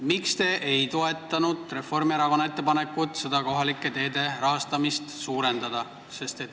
Miks te ei toetanud Reformierakonna ettepanekut kohalike teede rahastamist suurendada?